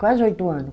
Quase oito ano.